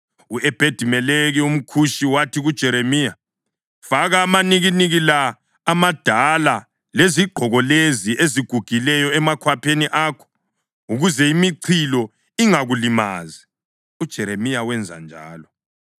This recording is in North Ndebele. U-Ebhedi-Meleki umKhushi wathi kuJeremiya, “Faka amanikiniki la amadala lezigqoko lezi ezigugileyo emakhwapheni akho ukuze imichilo ingakulimazi.” UJeremiya wenza njalo,